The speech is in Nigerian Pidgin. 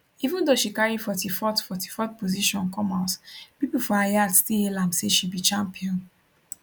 even though she carry 44th 44th position come house pipo for her yard still hail am say she be champion